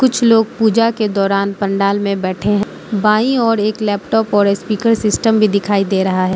कुछ लोग पूजा के दौरान पंडाल में बैठे हैं बाईं और एक लैपटॉप और स्पीकर सिस्टम भी दिखाई दे रहा है।